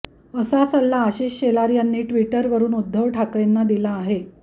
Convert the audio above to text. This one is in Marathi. असा सल्ला आशिष शेलार यांनी ट्विटरवरुन उद्धव ठाकरेंना दिला आहे